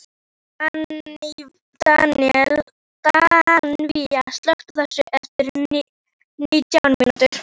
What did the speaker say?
Daníval, slökktu á þessu eftir nítján mínútur.